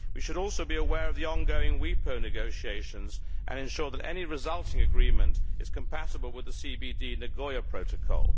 We should also be aware of the ongoing WIPO negotiations and ensure that any resulting agreement is compatible with the CBD Nagoya Protocol.